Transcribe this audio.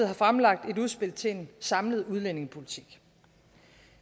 har fremlagt et udspil til en samlet udlændingepolitik